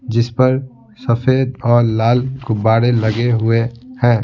जिस पर सफेद और लाल कुब्बारे लगे हुए हैं ।